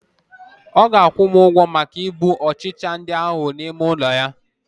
ọ ga-akwụ m ụgwọ maka igbu ọkpa ndị ahụ n'ime ụlọ ya